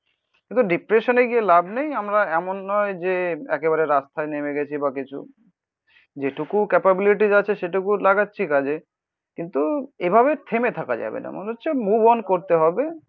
কিন্তু ডিপ্রেশান এ গিয়ে লাভ নেই. আমরা এমন নয় যে একেবারে রাস্তায় নেমে গেছি বা কিছু, যেটুকু ক্যাপাবিলিটিজ আছে সেটুকুও লাগাচ্ছি কাজে. কিন্তু এভাবে থেমে থাকা যাবে না. মনে হচ্ছে মুভ অন করতে হবে.